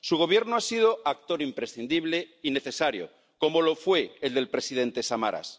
Su Gobierno ha sido actor imprescindible y necesario, como lo fue el del presidente Samaras.